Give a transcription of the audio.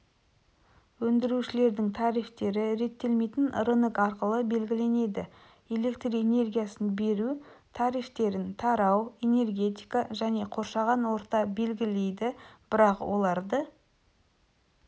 өндірушілердің тарифтері реттелмейтін рынок арқылы белгіленеді электр энергиясын беру тарифтерін тарау энергетика және қоршаған орта белгілейді бірақ оларды